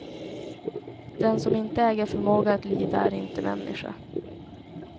Den som inte äger förmåga att lida är inte människa.